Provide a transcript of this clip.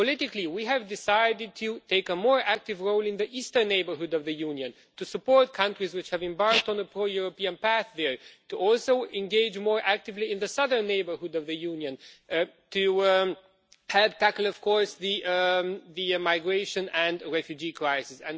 Politically, we have decided to take a more active role in the eastern neighbourhood of the Union to support countries which have embarked on a pro European path there and also to engage more actively in the southern neighbourhood of the Union to help tackle, of course, the migration and refugee crises.